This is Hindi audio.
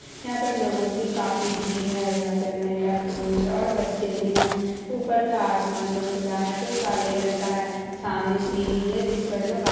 य-यहाँ पर लोगों की काफी भीड़ है यहां पर महिला पुरुष और बच्चे भी है ऊपर का आसमान जो खुला है जो काले रंग का है सामने सीढ़ी है जिस पर लोग आ--